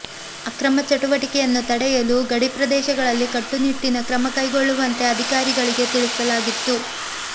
ಅಕ್ರಮ ಚಟುವಟಿಕೆಯನ್ನು ತಡೆಯಲು ಗಡಿ ಪ್ರದೇಶಗಳಲ್ಲಿ ಕಟ್ಟು ನಿಟ್ಟಿನ ಕ್ರಮ ಕೈ ಗೊಳ್ಳುವಂತೆ ಅಧಿಕಾರಿಗಳಿಗೆ ತಿಳಿಸಲಾಗಿತ್ತು